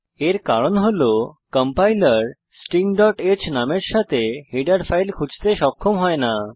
এর কারণ হল কম্পাইলার stingহ্ নামের সাথে হেডার ফাইল খুঁজতে সক্ষম হয় না